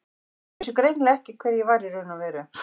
Þau vissu greinilega ekki hver ég var í raun og veru.